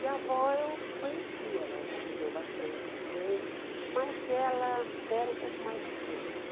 E a avó eu conhecia, ela viveu bastante também, mas ela era um pouco mais distante.